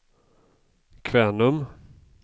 Kvänum